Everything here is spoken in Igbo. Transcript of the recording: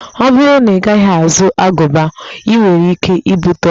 Ọ bụrụ na Ị gaghị azụ agụba, i nwere ike ibute ọria